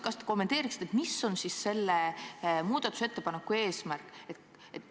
Kas te kommenteeriksite, mis on siis selle muudatusettepaneku eesmärk?